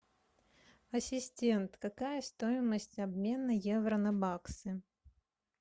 ассистент какая стоимость обмена евро на баксы